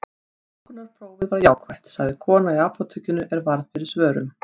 Þungunarprófið var jákvætt, sagði kona í apótekinu er varð fyrir svörum.